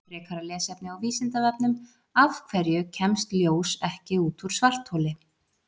Frekara lesefni á Vísindavefnum: Af hverju kemst ljós ekki út úr svartholi?